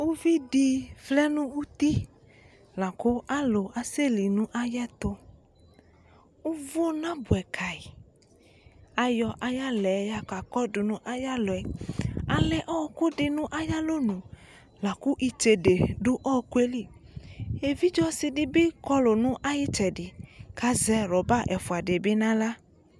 uvidi vlɛ nu uti laku alu asɛli nu ayɛtu uvu nabɛ kayi ayɔ ayaxlɛ yakakɔdu nu aya luɛ alɛ ɔku di nu aya lɔnu laku itsédé du ɔkuɛ li évidzé ɔsi di bi kɔlu nayi tsɛdi kazɛ rɔba ɛfua di bi na xlă